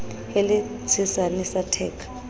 e le tshesane sa theka